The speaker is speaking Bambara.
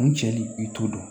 N cɛ i t'o dɔn